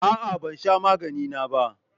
A'a, ban sha magani na ba.